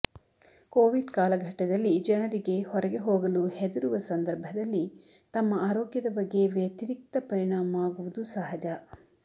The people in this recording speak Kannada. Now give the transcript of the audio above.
ಕೋವಿಡ್ ಕಾಲಘಟ್ಟದಲ್ಲಿ ಜನರಿಗೆ ಹೊರಗೆ ಹೋಗಲು ಹೆದರುವ ಸಂದರ್ಭದಲ್ಲಿ ತಮ್ಮ ಆರೋಗ್ಯದ ಬಗ್ಗೆ ವ್ಯತಿರಿಕ್ತ ಪರಿಣಾಮ ಆಗುವುದು ಸಹಜ